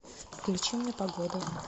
включи мне погоду